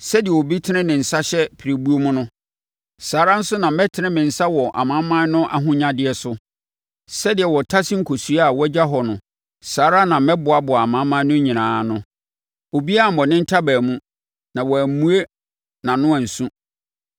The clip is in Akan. Sɛdeɛ obi tene ne nsa hyɛ pirebuo mu no, saa ara nso na mɛtene me nsa wɔ amanaman no ahonyadeɛ so; sɛdeɛ wɔtase nkosua a wɔagya hɔ no saa ara na mɛboaboaa amanaman no nyinaa ano; obiara ammɔ ne ntaban mu, na wammue nʼano ansu.’ ”